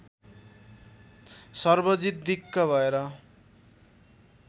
सर्वजित दिक्क भएर